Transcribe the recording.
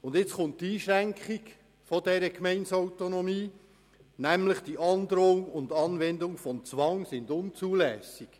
Nun kommt mit Artikel 77 Absatz 1 eine Einschränkung dieser Gemeindeautonomie, nämlich: «Die Androhung und Anwendung von Zwang sind unzulässig.